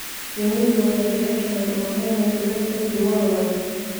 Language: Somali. Shinnidu waxay jeceshahay ubaxyo midabyo kala duwan leh.